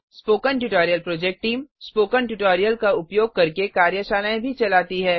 spoken tutorial project team spoken tutorial का उपयोग करके कार्यशालाएँ भी चलाती है